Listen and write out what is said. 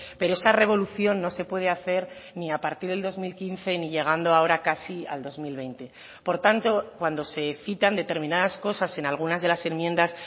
pero esa revolución no se puede hacer ni a partir del dos mil quince ni llegando ahora casi al dos mil veinte por tanto cuando se citan determinadas cosas en algunas de las enmiendas